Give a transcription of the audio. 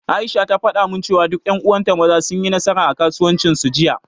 Aisha ta faɗa min, cewa duka ƴan uwan ta Maza, sun yi nasara a kasuwancin su, Jiya.